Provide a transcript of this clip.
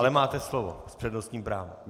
Ale máte slovo s přednostním právem.